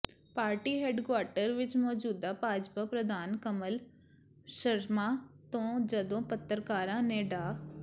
party headquarter ਵਿੱਚ ਮੌਜੂਦ ਭਾਜਪਾ ਪ੍ਰਧਾਨ ਕਮਲ ਸ਼ਰਮਾ ਤੋਂ ਜਦੋਂ ਪੱਤਰਕਾਰਾਂ ਨੇ ਡਾ